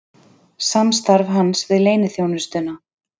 Samstarf hans við leyniþjónustuna